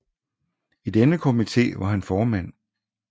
I denne komité var han formand